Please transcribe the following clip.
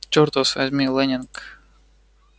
чёрт вас возьми лэннинг